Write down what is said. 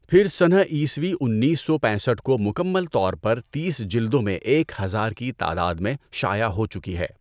پھر سنہ عیسوی انیس سو پینسٹھ کو مکمل طور پر تیس جلدوں میں ایک ہزار کی تعداد میں شائع ہو چکی ہے۔